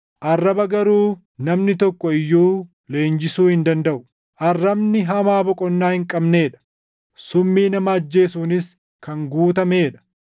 arraba garuu namni tokko iyyuu leenjisuu hin dandaʼu. Arrabni hamaa boqonnaa hin qabnee dha; summii nama ajjeesuunis kan guutamee dha.